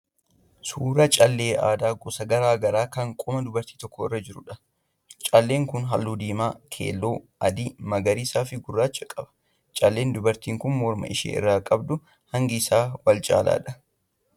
Suuraa callee aadaa gosa garaa garaa kan qoma dubartii tokko irra jiruudha. Calleen kun halluu diimaa, keelloo, adii, magariisaa fi gurraacha qaba. Calleen dubartiin kun morma ishee irraa qabdu hangi isaa wal caalaadha.